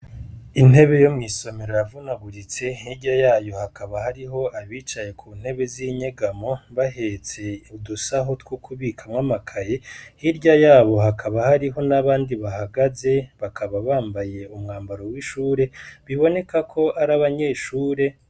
Intebe yo mw'isomero yavunaguritse; Hirya yayo hakaba hariho abicaye ku ntebe z'inyegamo bahetse udusaho two kubikamwo amakaye. Hirya yabo hakaba hariho n'abandi bahagaze, bakaba bambaye umwambaro w'ishure, biboneka ko ari abanyeshure.